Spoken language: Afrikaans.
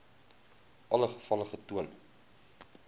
alle gevalle getoon